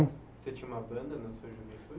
Você tinha uma banda na sua juventude?